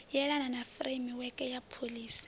elana na furemiweke ya pholisi